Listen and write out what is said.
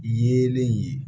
Yelen ye